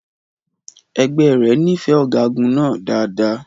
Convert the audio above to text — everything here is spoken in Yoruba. Ẹgbẹ́ rẹ̀ nífẹ̀ẹ́ ọ̀gágun náà dáadáa.